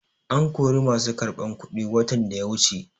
An kori masu karɓar kuɗi watan da ya wuce.